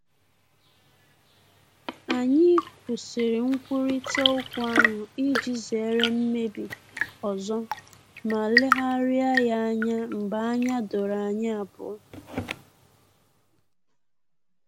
Anyị kwụsịrị nkwurịta okwu ahụ iji zere mmebi ọzọ ma legharịa ya anya mgbe anya doro anyi abuo